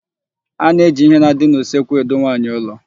A na-eji íhé na-adị n'usekwu edu nwaanyị ụlọ.